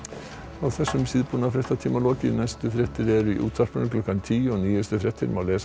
er þessum síðbúna fréttatíma lokið næstu fréttir eru í útvarpinu klukkan tíu og nýjustu fréttir má lesa